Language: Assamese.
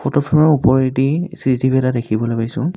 ফটোখনৰ ওপৰেদি চি_চি_টি_ভি এটা দেখিবলৈ পাইছোঁ।